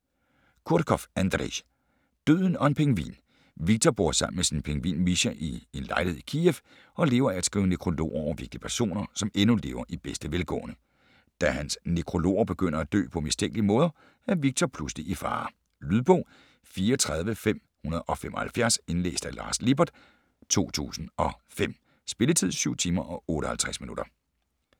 Kurkov, Andrej: Døden og en pingvin Viktor bor sammen med sin pingvin Misha i en lejlighed i Kiev og lever af at skrive nekrologer over vigtige personer, som endnu lever i bedste velgående. Da hans "nekrologer" begynder at dø på mistænkelige måder, er Viktor pludselig i fare. Lydbog 34575 Indlæst af Lars Lippert, 2005. Spilletid: 7 timer, 58 minutter.